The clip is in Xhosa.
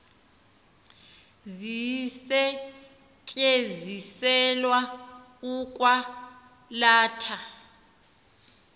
zisetyenziselwa ukwa latha